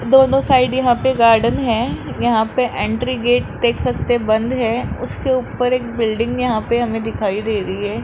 दोनों साइड यहां पे गार्डन है यहां पे इंट्री गेट देख सकते है बंद है उसके ऊपर एक बिल्डिंग यहां पे हमें दिखाई दे रही है।